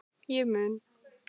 Ég mun